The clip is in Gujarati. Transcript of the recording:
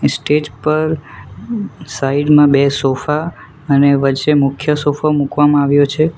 સ્ટેજ પર સાઈડ માં બે સોફા અને વચ્ચે મુખ્ય સોફો મુકવામાં આવ્યો છે.